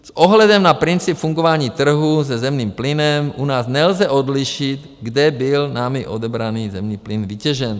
S ohledem na princip fungování trhu se zemním plynem u nás nelze odlišit, kde byl námi odebraný zemní plyn vytěžen.